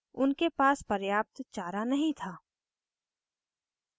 उनके पास पर्याप्त चारा नहीं था